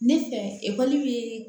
Ne fɛ ekɔli bɛ